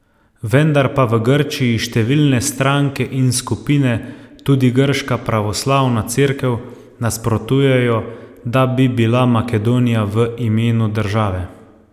Vendar pa v Grčiji številne stranke in skupine, tudi grška pravoslavna cerkev, nasprotujejo, da bi bila Makedonija v imenu države.